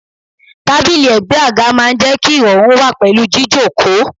Tábìlì ègbé àga máa ń jẹ́ kí irọrun wà pẹ̀lú jíjókòó.